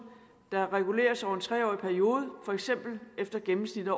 der reguleres over en tre årig periode for eksempel efter gennemsnittet